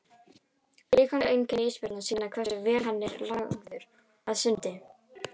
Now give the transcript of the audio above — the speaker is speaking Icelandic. Líkamleg einkenni ísbjarnarins sýna hversu vel hann er lagaður að sundi.